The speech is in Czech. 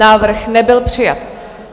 Návrh nebyl přijat.